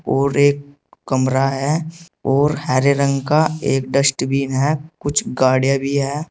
और एक कमरा है और हरे रंग का एक डस्टबिन है कुछ गाड़ियां भी है।